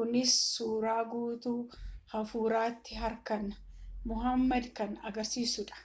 kunis suuraa guutuu hafuuratti hirkannaa mohaammed kan agarisiisuudha